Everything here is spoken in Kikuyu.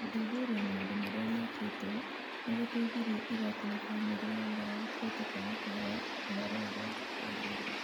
"Gũthuthuria maũndũ marĩa mekĩtwo, nĩ gũteithirie igooti na famĩlĩ ya ũrĩa wakuĩte kwaga kũheo ũhoro ũrĩa wagĩrĩire.